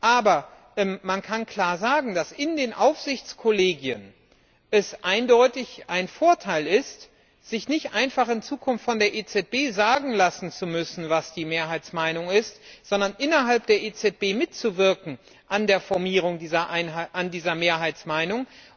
Aber man kann klar sagen, dass es in den Aufsichtskollegien eindeutig ein Vorteil ist, sich nicht einfach in Zukunft von der EZB sagen lassen zu müssen, was die Mehrheitsmeinung ist, sondern innerhalb der EZB mitzuwirken an der Formierung dieser Mehrheitsmeinung.